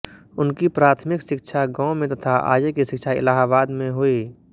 उनकी प्राथमिक शिक्षा गांव में तथा आगे की शिक्षा इलाहाबाद में हुई